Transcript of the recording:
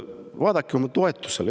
Vaadake oma toetust!